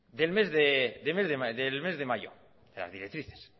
del mes de mayo las directrices